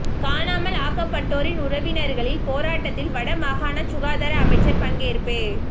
காணாமல் ஆக்கப்பட்டடோரின் உறவினர்களின் போராட்டத்தில் வட மாகாண சுகாதார அமைச்சர் பங்கேற்பு